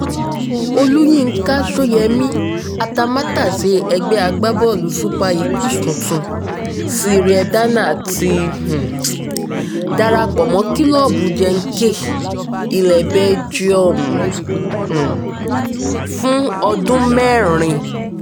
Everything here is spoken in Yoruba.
olùyinka sóyemí atamátàsé ẹgbẹ́ agbábọ́ọ̀lù super eagles tuntun cyriel danners ti um darapọ̀ mọ́ kílọ́ọ̀bù genk ilẹ̀ belgium um fún ọdún mẹ́rin